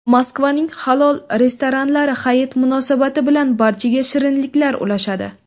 Moskvaning halol restoranlari Hayit munosabati bilan barchaga shirinliklar ulashadi.